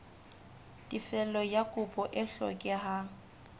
tefello ya kopo e hlokehang